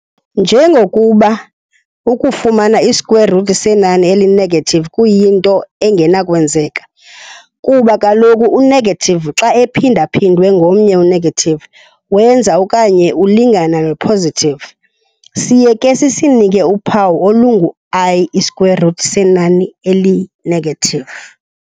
Njengokuba ukufumana i-square root senani eli-negative kuyinto engenakwenzeka, kuba kaloku u-negative xa ephinda-phindwe ngomnye u-negative wenza okanye ulingana no-positive. siye ke sisinike uphawu olungu-i i-square root senani eli-negative.